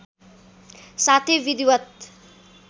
साथै विधिवत्